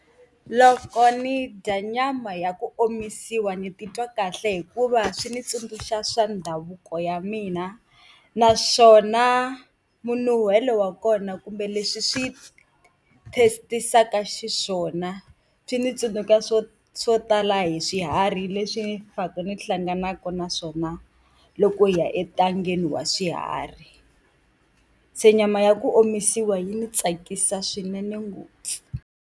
Loko ni dya nyama ya ku omisiwa ni titwa kahle hikuva swi ndzi tsundzuxa swa ndhavuko ya mina, naswona minuhelo wa kona kumbe leswi swi taste-isaka xiswona swi ndzi tsundzuxa swo swo tala hi swiharhi leswi pfaka ni hlanganaka na swona loko hi ya entangeni wa swiharhi. Se nyama ya ku omisiwa yi ni tsakisa swinene ngopfu.